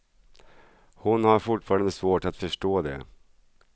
Hon har fortfarande svårt att förstå det.